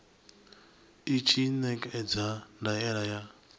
i tshi ṋekedza ndaela ya